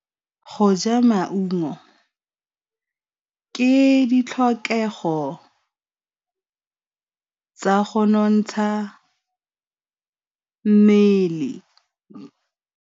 Go ja maungo ke ditlhokegô tsa go nontsha mmele.